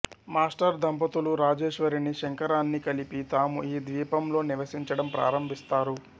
master దంపతులు రాజేశ్వరిని శంకరాన్నీ కలిపి తాము ఈ ద్వీపంలో నివసించడం ప్రారంభిస్తారు